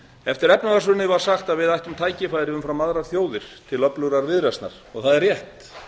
eftir efnahagshrunið var sagt að við ættum tækifæri umfram aðrar þjóðir til öflugrar viðreisnar og það er rétt